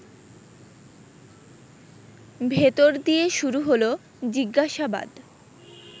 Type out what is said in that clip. ভেতর দিয়ে শুরু হলো জিজ্ঞাসাবাদ